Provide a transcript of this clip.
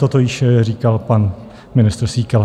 Toto již říkal pan ministr Síkela.